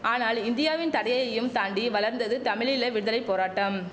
ஆனால் இந்தியாவின் தடையையும் தாண்டி வளர்ந்தது தமிழீழ விடுதலை போராட்டம்